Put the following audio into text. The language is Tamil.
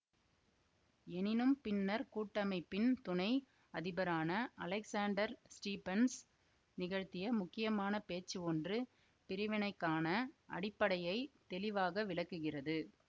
எனினும் பின்னர் கூட்டமைப்பின் துணை அதிபரான அலெக்சாண்டர் ஸ்டீபன்ஸ் நிகழ்த்திய முக்கியமான பேச்சு ஒன்று பிரிவினைக்கான அடிப்படையைத் தெளிவாக விளக்குகிறது